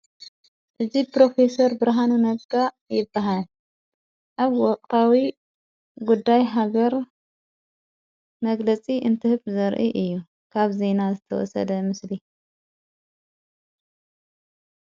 እዝይ ጵሮፌሰር ብርሃኑ ነቃ ይበሃል ኣብ ወቕቓዊ ጕዳይ ሃገር መግለጺ እንትህብ ዘርኢ እዩ ካብ ዘይና ዝተወሰደ ምስሊ እዩ።